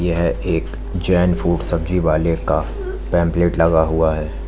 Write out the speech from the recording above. यह एक जैन फूड सब्जी वाले का पैंपलेट लगा हुआ है।